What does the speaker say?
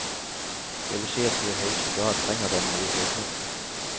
Jeg vil si at vi i høyeste grad trenger denne nye bygningen.